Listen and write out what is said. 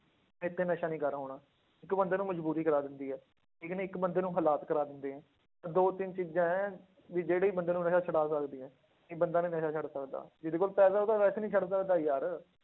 ਨਸ਼ਾ ਨੀ ਕਰ ਹੋਣਾ, ਇੱਕ ਬੰਦੇ ਨੂੰ ਮਜ਼ਬੂਰੀ ਕਰਵਾ ਦਿੰਦੀ ਹੈ, ਇੱਕ ਨਾ ਇੱਕ ਬੰਦੇ ਨੂੰ ਹਾਲਾਤ ਕਰਵਾ ਦਿੰਦੇ ਹੈ, ਦੋ ਤਿੰਨ ਚੀਜ਼ਾਂ ਹੈ ਵੀ ਜਿਹੜੀ ਬੰਦੇ ਨੂੰ ਨਸ਼ਾ ਛੁਡਾ ਸਕਦੀਆਂ ਹੈ, ਨਹੀਂ ਬੰਦਾ ਨੀ ਨਸ਼ਾ ਛੱਡ ਸਕਦਾ, ਜਿਹਦੇ ਕੋਲ ਪੈਸਾ ਉਹ ਤਾਂ ਵੈਸੇ ਨੀ ਛੱਡ ਸਕਦਾ ਯਾਰ।